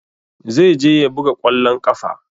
Zai je ya buga ƙwallon ƙafa.